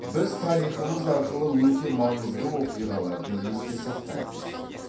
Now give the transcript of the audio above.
біз тарихымыз арқылы өте маңызды оқиғаларды есте сақтаймыз